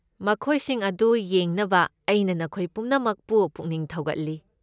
ꯃꯈꯣꯏꯁꯤꯡ ꯑꯗꯨ ꯌꯦꯡꯅꯕ ꯑꯩꯅ ꯅꯈꯣꯏ ꯄꯨꯝꯅꯃꯛꯄꯨ ꯄꯨꯛꯅꯤꯡ ꯊꯧꯒꯠꯂꯤ꯫